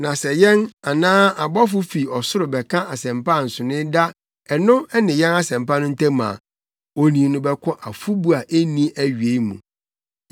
Na sɛ yɛn, anaa ɔbɔfo fi ɔsoro bɛka asɛmpa a nsonoe da ɛno ne yɛn Asɛmpa no ntam a, onii no bɛkɔ afɔbu a enni awiei mu.